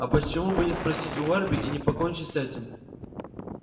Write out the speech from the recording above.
а почему бы не спросить у эрби и не покончить с этим